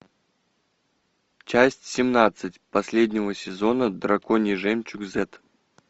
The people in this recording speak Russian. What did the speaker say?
часть семнадцать последнего сезона драконий жемчуг зет